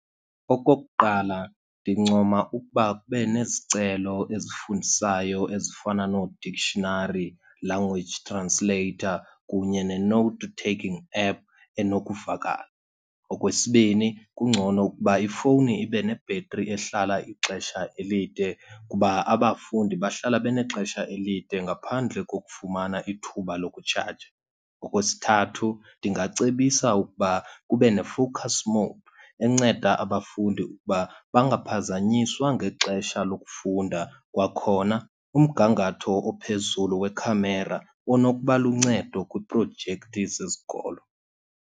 Okokuqala, ndincoma ukuba kube nezicelo ezifundisayo ezifana nooDictionary Language Translator kunye ne-note taking app enokuvakala. Okwesibini, kungcono ukuba ifowuni ibe nebhetri ehlala ixesha elide kuba abafundi bahlala benexesha elide ngaphandle kokufumana ithuba lokutshaja. Okwesithathu, ndingacebisa ukuba kube neFocus More enceda abafundi ukuba bangaphazanyiswa ngexesha lokufunda. Kwakhona umgangatho ophezulu wekhamera unokuba luncedo kwiiprojekthi zesikolo.